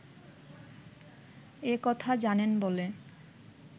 এ কথা জানেন বলে